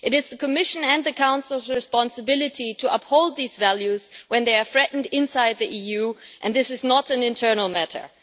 It is the Commission and the Council's responsibility to uphold these values when they are threatened inside the EU, and this is not an internal matter.